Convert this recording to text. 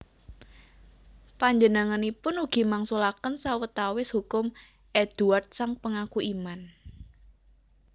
Panjenenganipun ugi mangsulaken sawetawis hukum Eadweard sang Pengaku Iman